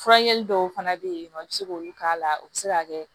Furakɛli dɔw fana bɛ yen nɔ i bɛ se k'olu k'a la u bɛ se ka kɛ